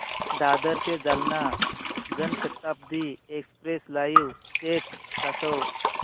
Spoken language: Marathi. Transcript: दादर ते Jalna Janshatabdi express live status दाखव